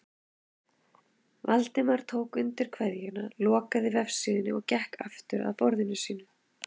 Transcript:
Valdimar tók undir kveðjuna, lokaði vefsíðunni og gekk aftur að borðinu sínu.